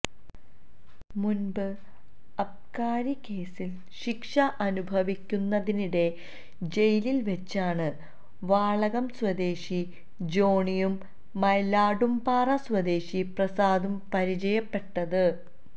മുന്പ് അബ്കാരി കേസില് ശിക്ഷ അനുഭവിക്കുന്നതിനിടെ ജയിലില് വെച്ചാണ് വാളകം സ്വദേശി ജോണിയും മൈലാടുംപാറ സ്വദേശി പ്രസാദും പരിചയപ്പെട്ടത്